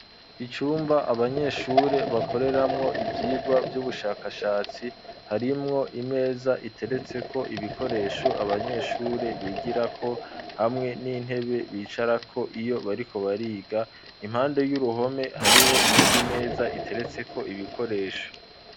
Icumba, abanyeshure bakoreramwo, ivyigwa vy'ubushakashatsi, harimwo imeza, iteretseko ibikoresho, abanyeshure bigirako; hamwe n'intebe, bicarako iyo bariko, bariga; impande y'uruhome, hariho iyindi imeza, iteretseko ibikoresho.